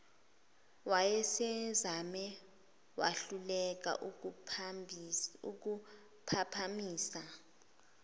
wayesezame wahluleka ukuphaphamisa